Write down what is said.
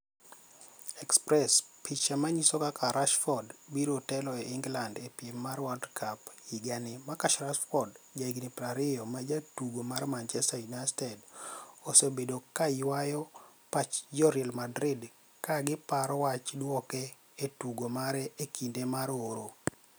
(express) Picha maniyiso kaka Rashford biro telo ni e Eniglanid e piem mag World Cup higanii Marcus Rashford, jahiginii 20 ma jatugo mar Manichester Uniited, osebedo ka ywayo pach jo Real Madrid ka giparo wach duoke e tugo mare e kinide mar oro.